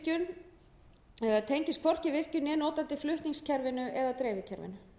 að flytja raforku beint frá virkjun né notandi flutningskerfinu eða dreifikerfinu